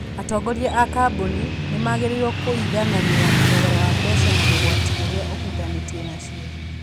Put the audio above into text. Atongoria a kambuni nĩ magĩrĩirũo kũiganania thogora wa mbeca na ũgwati ũrĩa ũhutanĩtie nacio.